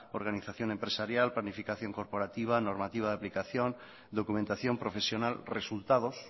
organización empresarial planificación corporativa normativa de aplicación documentación profesional resultados